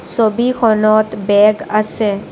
ছবিখনত বেগ আছে।